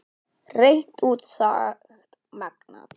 Hreint út sagt magnað.